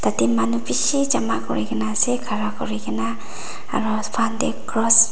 ete manu bishi jama kurina ase khara kuri kena aru front tae cross .--